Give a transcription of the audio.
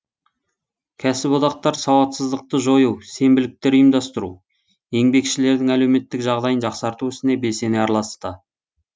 кәсіподақтар сауатсыздықты жою сенбіліктер ұйымдастыру еңбекшілердің әлеуметтік жағдайын жақсарту ісіне белсене араласты